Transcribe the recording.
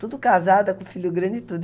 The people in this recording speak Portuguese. Tudo casada, com filho grande e tudo.